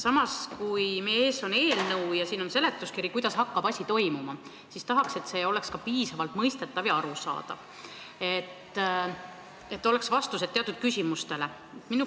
Samas, kui meie ees on eelnõu ja siin on seletuskiri, kuidas hakkab asi toimuma, siis tahaks, et see oleks piisavalt mõistetav ja arusaadav, et oleks vastused teatud küsimustele.